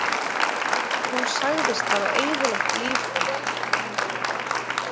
Þú sagðist hafa eyðilagt líf þitt